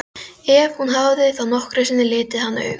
Ef hún hafði þá nokkru sinni litið hann augum.